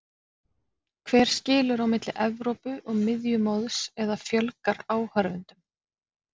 Hver skilur á milli Evrópu og miðjumoðs eða fjölgar áhorfendum?